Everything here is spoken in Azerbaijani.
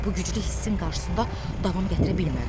Bu güclü hissin qarşısında davam gətirə bilmədim.